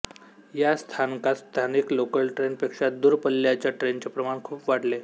या स्थानकात स्थानिक लोकल ट्रेन पेक्षा दूर पल्ल्याच्या ट्रेनचे प्रमाण खूप वाढले